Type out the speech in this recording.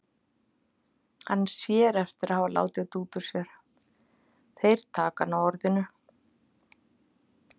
Hann sér eftir að hafa látið þetta út úr sér, þeir taka hann á orðinu.